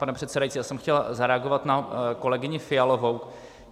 Pane předsedající, já jsem chtěl zareagovat na kolegyni Fialovou.